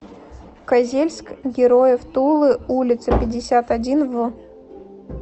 козельск героев тулы улица пятьдесят один в